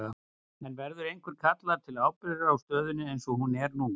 En verður einhver kallaður til ábyrgðar á stöðunni eins og hún er nú?